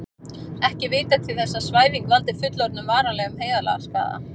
Ekki er vitað til þess að svæfing valdi fullorðnum varanlegum heilaskaða.